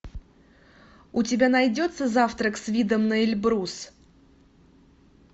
у тебя найдется завтрак с видом на эльбрус